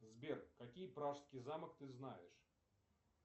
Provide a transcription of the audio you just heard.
сбер какие пражский замок ты знаешь